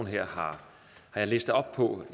her har jeg læst op på